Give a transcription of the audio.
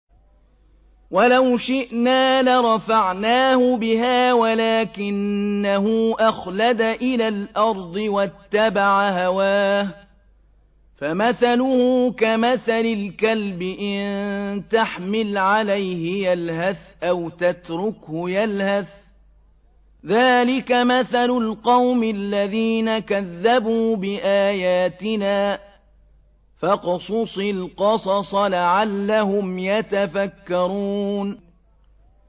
وَلَوْ شِئْنَا لَرَفَعْنَاهُ بِهَا وَلَٰكِنَّهُ أَخْلَدَ إِلَى الْأَرْضِ وَاتَّبَعَ هَوَاهُ ۚ فَمَثَلُهُ كَمَثَلِ الْكَلْبِ إِن تَحْمِلْ عَلَيْهِ يَلْهَثْ أَوْ تَتْرُكْهُ يَلْهَث ۚ ذَّٰلِكَ مَثَلُ الْقَوْمِ الَّذِينَ كَذَّبُوا بِآيَاتِنَا ۚ فَاقْصُصِ الْقَصَصَ لَعَلَّهُمْ يَتَفَكَّرُونَ